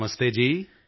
ਨਮਸਤੇ ਜੀ